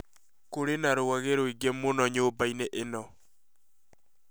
kũrĩ na rwage rũĩngĩ mũno nyũmbainĩ ĩno